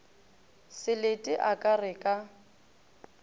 selete a ka re ka